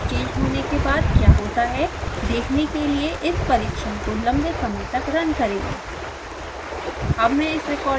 setpoint में step change होने के बाद क्या होता है देखने के लिए इस परीक्षण को लम्बे समय तक रन करें